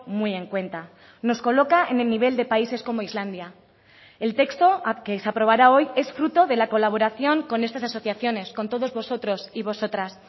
muy en cuenta nos coloca en el nivel de países como islandia el texto que se aprobará hoy es fruto de la colaboración con estas asociaciones con todos vosotros y vosotras